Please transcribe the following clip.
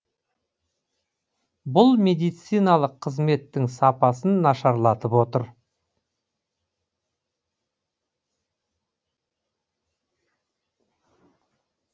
бұл медициналық қызметтің сапасын нашарлатып отыр